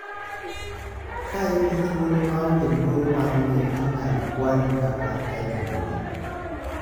Ka in gi thuolo maonge luoro mar ni inyal kwali kata ketho mbui